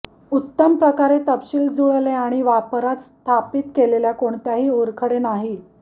उत्तम प्रकारे तपशील जुळले आणि वापरात स्थापित केलेल्या कोणत्याही ओरखडे नाही